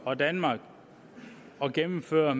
og danmark at gennemføre